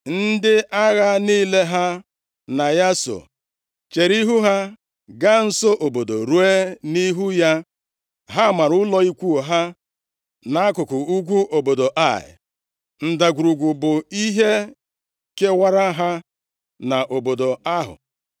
Ndị agha niile ha na ya so, chere ihu ha gaa nso obodo ruo nʼihu ya. Ha mara ụlọ ikwu ha nʼakụkụ ugwu obodo Ai, ndagwurugwu bụ ihe kewara ha na obodo ahụ.